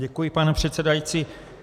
Děkuji, pane předsedající.